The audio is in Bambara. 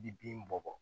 I bi bin bɔ bɔ